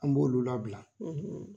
An b'olu labila,